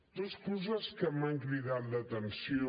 dos coses que m’han cridat l’atenció